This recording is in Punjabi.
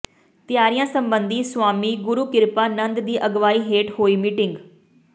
ਤਿਆਰੀਆਂ ਸਬੰਧੀ ਸੁਆਮੀ ਗੁਰੂ ਕਿਰਪਾ ਨੰਦ ਦੀ ਅਗਵਾਈ ਹੇਠ ਹੋਈ ਮੀਟਿੰਗ